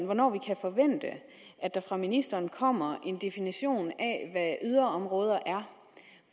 hvornår vi kan forvente at der fra ministeren kommer en definition af yderområder er